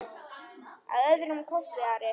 Að öðrum kosti Ari?